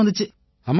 அம்மாடியோவ்